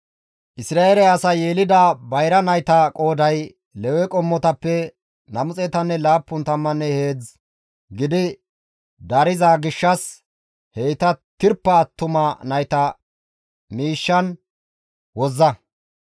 Isra7eele asay yelida bayra nayta qooday Lewe qommotappe 273 gidi dariza gishshas heyta tirpa attuma nayta miishshan wozza.